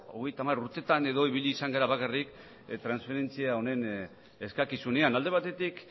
hogeita hamar urteetan edo ibili izan gara bakarrik transferentzia honen eskakizunean alde batetik